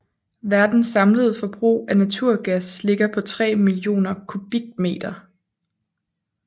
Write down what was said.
Verdens samlede forbrug af naturgas ligger på 3 billioner m3